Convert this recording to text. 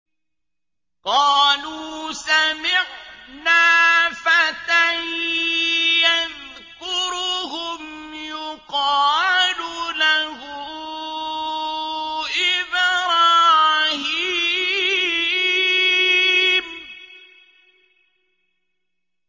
قَالُوا سَمِعْنَا فَتًى يَذْكُرُهُمْ يُقَالُ لَهُ إِبْرَاهِيمُ